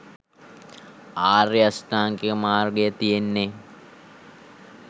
ආර්ය අෂ්ටාංගික මාර්ගය තියෙන්නේ.